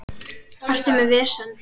Ertu með vesen?